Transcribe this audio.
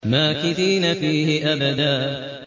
مَّاكِثِينَ فِيهِ أَبَدًا